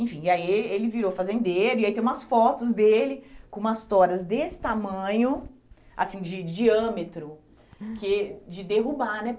Enfim, e aí eh ele virou fazendeiro e aí tem umas fotos dele com umas toras desse tamanho, assim, de diâmetro, que eh de derrubar, né?